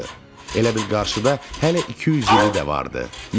Elə bil qarşıda hələ 200 ili də vardı.